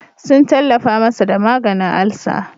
Sun tallafa masa da maganin alsa.